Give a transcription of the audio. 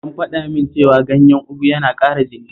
An faɗa min cewa ganyen ugu yana ƙara jini